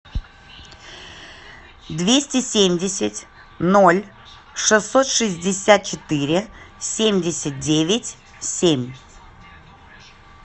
двести семьдесят ноль шестьсот шестьдесят четыре семьдесят девять семь